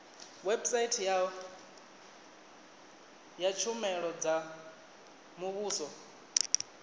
website ya tshumelo dza muvhuso